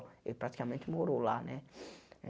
Ele praticamente morou lá, né?